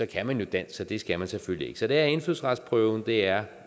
kan man jo dansk så det skal man selvfølgelig ikke så det er indfødsretsprøven det er